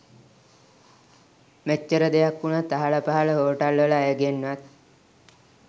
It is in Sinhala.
මෙච්චර දෙයක් වුණත් අහල පහළ හෝටල්වල අයගෙන්වත්